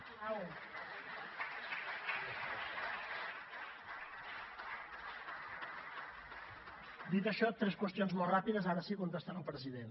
dit això tres qüestions molt ràpides ara sí contestant al president